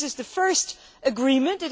This is the first agreement.